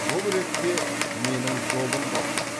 бұл ретте менің жолым болды